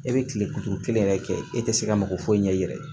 E bɛ tile kuluturu kelen yɛrɛ kɛ e tɛ se ka mako foyi ɲɛ i yɛrɛ ye